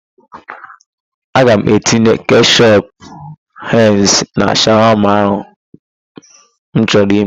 Aga m etinye keshọp henz na shawama ahụ m chọrọ ime.